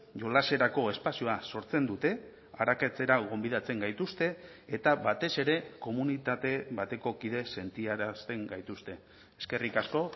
jolaserako espazioa sortzen dute arakatzera gonbidatzen gaituzte eta batez ere komunitate bateko kideek sentiarazten gaituzte eskerrik asko